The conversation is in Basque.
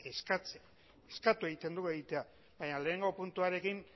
eskatu egin dugu egitea baina batgarrena puntuarekin